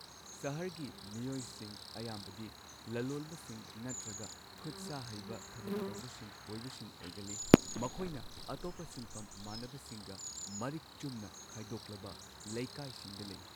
ꯁꯍꯔꯒꯤ ꯃꯤꯑꯣꯏꯁꯤꯡ ꯑꯌꯥꯝꯕꯗꯤ ꯂꯂꯣꯟꯕꯁꯤꯡ ꯅꯠꯇ꯭ꯔꯒ ꯈꯨꯠꯁꯥ ꯍꯩꯕ ꯊꯕꯛ ꯇꯧꯕꯁꯤꯡ ꯑꯣꯏꯕꯁꯤꯡ ꯑꯣꯏꯒꯜꯂꯤ꯫ ꯃꯈꯣꯏꯅ ꯑꯇꯣꯞꯄ ꯁꯤꯟꯐꯝ ꯃꯥꯟꯅꯕꯁꯤꯡꯒ ꯃꯔꯤꯛ ꯆꯨꯝꯅ ꯈꯥꯢꯗꯣꯛꯂꯕ ꯂꯩꯀꯥꯢꯁꯤꯡꯗ ꯂꯩ꯫